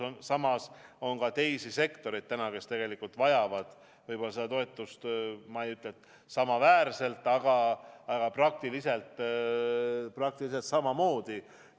On ju ka teisi sektoreid, kes vajavad toetust – ma ei ütle, et samaväärselt, aga praktiliselt samamoodi.